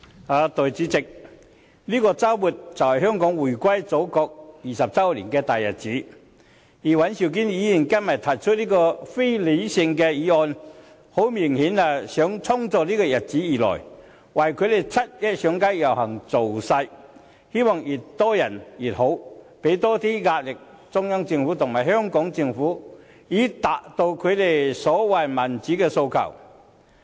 代理主席，這個周末就是香港回歸祖國20周年的大日子，而尹兆堅議員今天提出這項非理性的議案，明顯地就是要衝着這個日子而來，為他們七一上街遊行造勢，希望越多人越好，以期向中央政府和香港政府施加更多壓力，以達到他們所謂的民主訴求。